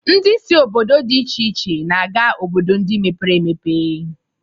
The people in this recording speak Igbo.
Ndị si obodo dị iche iche na-aga obodo ndị mepere emepe